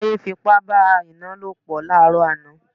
Táyé fi ipá bá Àìná lòpọ̀ láàrọ̀ àná